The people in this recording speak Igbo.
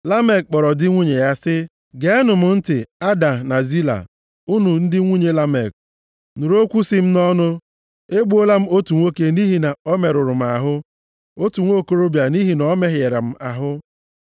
Lamek kpọrọ ndị nwunye ya sị ha, “Geenụ m ntị, Ada na Zila, unu ndị nwunye Lamek, nụrụ okwu sị m nʼọnụ. Egbuola m otu nwoke nʼihi na ọ merụrụ m ahụ, otu nwokorobịa nʼihi na ọ mehịara m ahụ.